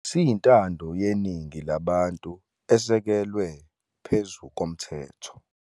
Siyintando yeningi labantu esekelwe phezu komthetho.